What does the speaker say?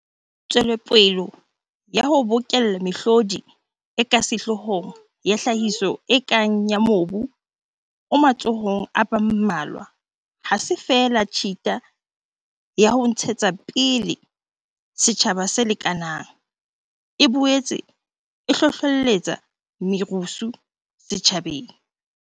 Tswelopele ya ho bokella mehlodi e ka sehloohong ya tlhahiso e kang ya mobu o matsohong a ba mmalwa ha se feela tshita ya ho ntshetsa pele setjhaba se lekanang, e boetse e hlohlelletsa merusu setjhabeng.